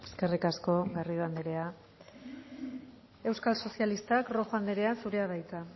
eskerrik asko garrido andrea euskal sozialistak rojo andrea zurea da hitza